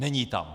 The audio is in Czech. Není tam.